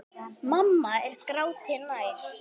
Mamma er gráti nær.